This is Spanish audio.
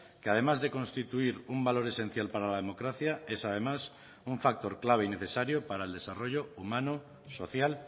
que además de constituir un valor esencial para la democracia es además un factor clave y necesario para el desarrollo humano social